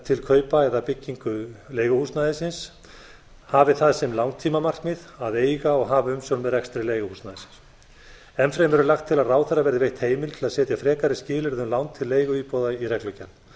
til kaupa eða bygginga leiguhúsnæðisins hafi það sem langtímamarkmið að eiga og hafa umsjón með rekstri leiguhúsnæðisins enn fremur er lagt til að ráðherra verði veitt heimild til að setja frekari skilyrði um lán til leiguíbúða í reglugerð